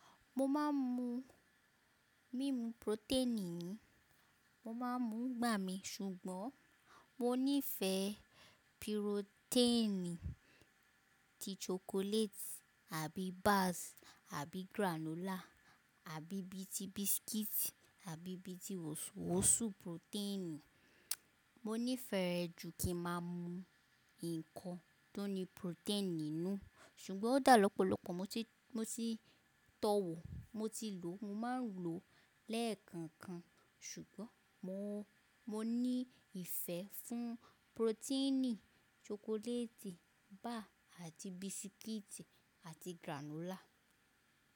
Mo má ń mu mímu protein ni, mo má ń mu ngbà mí ṣùgbọ́n mo nífè pìrotéènì tí chocolate àbí bars àbí granola àbí bí i ti biscuits àbí bí i ti wosùwosù protein. Mo nífẹ̀ẹ́ jù kí n má a mu ǹkan tó ní protein nínú, ṣùgbọ́n ó dà lọ́pọ̀lọ́pọ̀ mo ti tọ́ wò, mo ti lò, mo má ń lò lẹ́ẹ̀kan kan ṣùgbọ́n mo ní ìfẹ́ fún proteinì chocolate bar àti biscuit àti granola.